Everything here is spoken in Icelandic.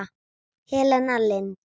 Helena Lind.